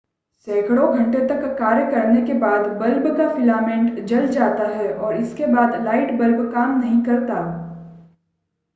सैकड़ों घंटे तक कार्य करने के बाद बल्ब का फिलामेंट जल जाता है और इसके बाद लाइट बल्ब काम नहीं करता